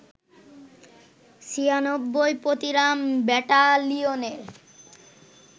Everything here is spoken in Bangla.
৯৬ পতিরাম ব্যাটালিয়নের